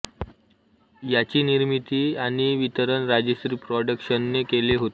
याची निर्मिती आणि वितरण राजश्री प्रॉडक्शनने केले होते